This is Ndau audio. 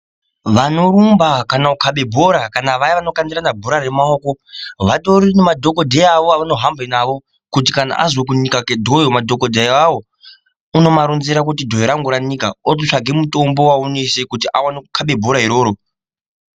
Vanorumba kana kukhaba bhora kana vayani vanokandirana bhora remaoko vatori nemadhokodheya avo avanotohamba nawo kuti kana azwa kunika kwedhoyo madhokodheya ona awawo unotovaronzera kuti dhoyo rangu ranika otopuwa mutombo wekuisa dhoyo rakhona iroro kuti aone kukaba bhora rona iroro.